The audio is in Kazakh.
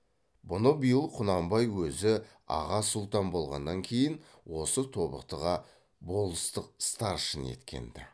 бұны биыл құнанбай өзі аға сұлтан болғаннан кейін осы тобықтыға болыстық старшын еткен ді